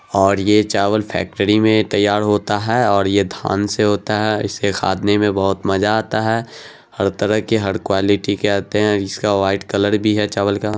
और ये चावल फैक्ट्री में तैयार होता है और यह धान से होता है। इसके खादने में बहुत मजा आता है। हर तरह की हर क्वालिटी के आते हैं। इसका वाइट कलर भी है चावल का।